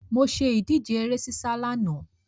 Mo ṣe ìdíje ere sísá lánàá.